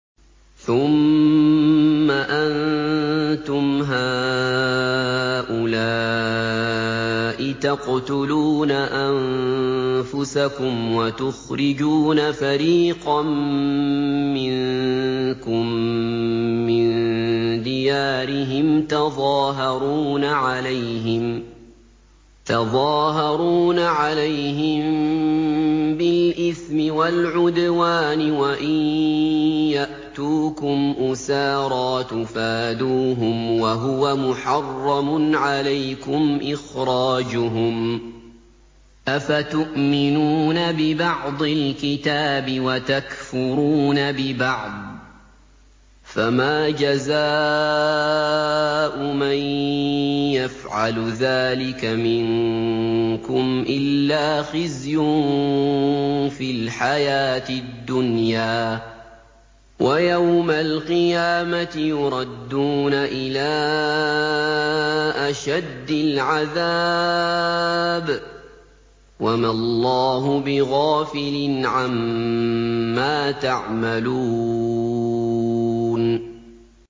ثُمَّ أَنتُمْ هَٰؤُلَاءِ تَقْتُلُونَ أَنفُسَكُمْ وَتُخْرِجُونَ فَرِيقًا مِّنكُم مِّن دِيَارِهِمْ تَظَاهَرُونَ عَلَيْهِم بِالْإِثْمِ وَالْعُدْوَانِ وَإِن يَأْتُوكُمْ أُسَارَىٰ تُفَادُوهُمْ وَهُوَ مُحَرَّمٌ عَلَيْكُمْ إِخْرَاجُهُمْ ۚ أَفَتُؤْمِنُونَ بِبَعْضِ الْكِتَابِ وَتَكْفُرُونَ بِبَعْضٍ ۚ فَمَا جَزَاءُ مَن يَفْعَلُ ذَٰلِكَ مِنكُمْ إِلَّا خِزْيٌ فِي الْحَيَاةِ الدُّنْيَا ۖ وَيَوْمَ الْقِيَامَةِ يُرَدُّونَ إِلَىٰ أَشَدِّ الْعَذَابِ ۗ وَمَا اللَّهُ بِغَافِلٍ عَمَّا تَعْمَلُونَ